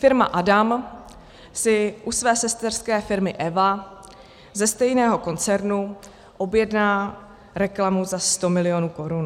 Firma Adam si u své sesterské firmy Eva ze stejného koncernu objedná reklamu za sto milionů korun.